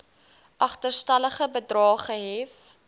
agterstallige bedrae gehef